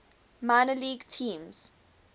minor league teams